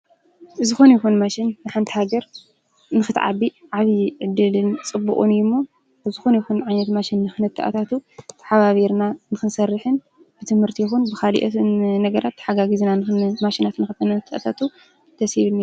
ብዝኮነ ይኩን ማሽን ንሓንቲ ሃገር ንክትዓቢ ዓብይ ዕድልን ፅቡቅን እዩ እሞ ብዝኾነ ይኹን ዓይነት ማሽን ንክንትኣታትው ተሓባቢርና ንክንሰርሕን ብትምህርቲ ይኹን ብካልኦት ነገራት ተሓጋጊዝና ማሽናት ንክንታኣትው ደስ ይብል።